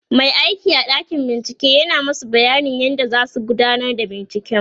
Mai aiki a ɗakin bincike yana masu bayanin yadda zasu gudanar da binciken